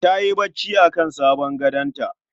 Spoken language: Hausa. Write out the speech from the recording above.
Tayi bacci akan sabon gadonta